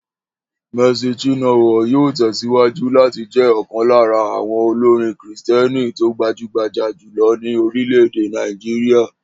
Mercy Chinwo yóò tẹ̀síwájú láti jé̩ ò̩kan lára àwo̩n olórin kìrìsìté̩nì tó gbajúgbajà jùlo̩ ní orílè̩-èdè Nàìjíríà